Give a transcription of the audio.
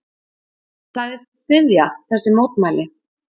Hann sagðist styðja þessi mótmæli.